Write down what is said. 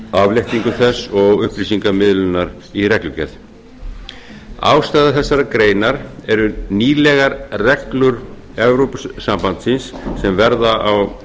afléttingu þess og upplýsingamiðlunar í reglugerð ástæður þessarar greinar eru nýlegar reglur evrópusambandsins sem verða á